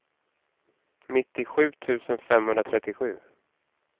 nittiosju tusen femhundratrettiosju